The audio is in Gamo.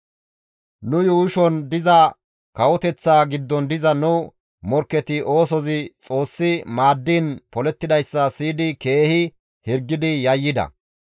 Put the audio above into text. Nu yuushon diza kawoteththaa giddon diza nu morkketi oosozi Xoossi maaddiin polettidayssa siyidi keehi hirgidi yayyida.